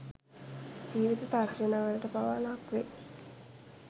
ජීවිත තර්ජන වලට පවා ලක් වෙයි